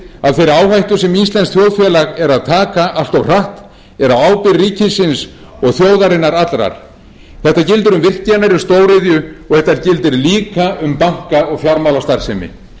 þeirri áhættu sem íslenskt þjóðfélag er að taka allt of hratt er á ábyrgð ríkisins og þjóðarinnar allrar þetta gildir um virkjanir um stóriðju og þetta gildir líka um banka og fjármálastarfsemi vinstri